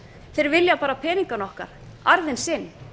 þeir vilja bara peningana okkar arðinn sinn